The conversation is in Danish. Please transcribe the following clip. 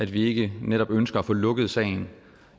vi ikke netop ønsker at få lukket sagen